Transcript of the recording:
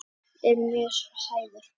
Ég er mjög hrærður.